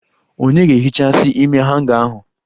Onye ga-ehichasi ime hanga ahụ?